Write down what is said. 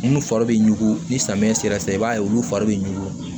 Minnu fari bɛ ɲugu ni samiyɛ sera sisan i b'a ye olu fari bɛ ɲugu